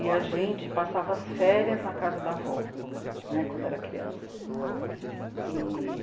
E a gente passava as férias na casa da avó né, quando era criança. E...